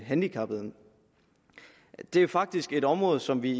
handicappede at det faktisk er et område som vi